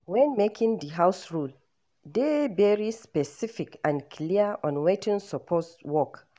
When making di house rule, dey very specific and clear on wetin suppose work